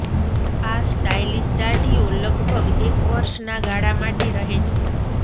આ સ્ટાઈલીશ દાઢીઓ લગભગ એક વર્ષના ગાળા માટે રહે છે